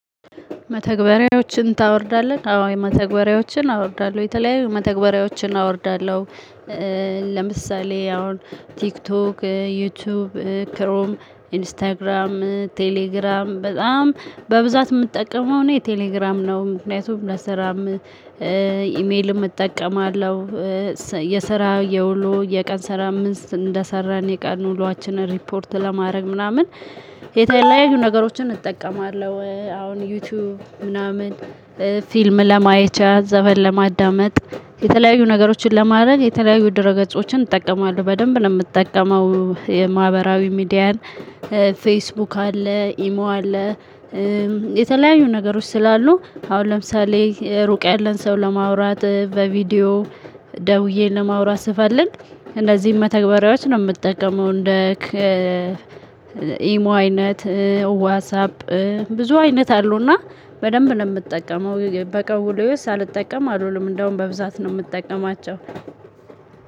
መተግበሪያዎችን ታወርዳለህ? አዎ መተግበሪያዎችን አወርዳለሁ የተለያዩ መተግበሪያዎችን አወርዳለሁ። ለምሳሌ አሁን ቲክቶክ ዩቲዩብ ክሮም ኢንስታግራም ቴሌግራም በጣም በብዛት የምትጠቀመው እኔ ቴሌግራም ነው። ምክንያቱም ለስራም ኢሜልም እጠቀማለሁ። የስራ የውሎ የቀን ስራምን እንደሰራን የቀን ውሏችን ሪፖርት ለማድረግ ምናምን የተለያዩ ነገሮችን እጠቀማለሁ። አሁን ዩቲዩብ ምናምን ፊልም ለማየቻ ዘፈን ለማዳመጥ የተለያዩ ነገሮችን ለማድረግ የተለያዩ ድሮ ገጾችን እጠቀማለሁ። በደንብ ነው የምጠቀመው የማህበራዊ ሚዲያን ፌስቡክ አለ ኢሞ አለ። የተለያዩ ነገሮች ስላሉ አሁን ለምሳሌ ሩቅ ያለን ሰው ለማውራት በቪዲዮ ደውዬ ለማውራት ስፈልግ እነዚህን መተግበሪያዎች ነው የምጠቀመው። እንደ ኢሞ አይነት ዋትሳፕ ብዙ አይነት አሉና በደንብነው እምጠቀመው በቀን ውሎዬ ውስጥ ሳልጠቀም አልውልም። እንደውም በብዛት ነው የምጠቀማቸው።